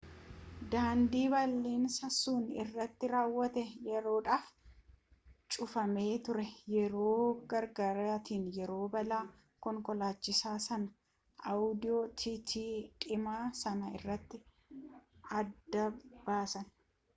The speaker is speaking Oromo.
daandii balaan sun irratti raawwate yeroodhaaf cufamee ture yeroo gargaartonni yeroo balaa konkolaachisaa sana audi tt diimaa san irraa adda baasan